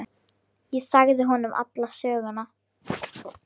Ég sagði honum alla söguna.